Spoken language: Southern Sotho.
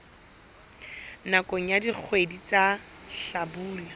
nakong ya dikgwedi tsa hlabula